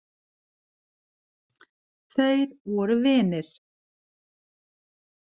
Þeir voru vinir.